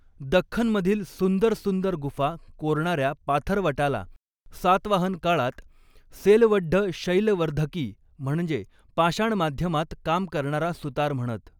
दक्खनमधील सुंदर सुंदर गुफा कोरणाऱ्या पाथरवटाला सातवाहन काळात सेलवड्ढ शैलवर्द्धकी, म्हणजे पाषाणमाध्यमात काम करणारा सुतार म्हणत.